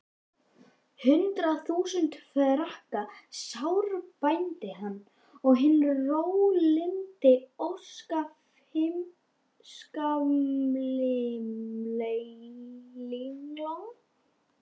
Hundrað þúsund franka sárbændi hann, og hinn rólyndi óskammfeilni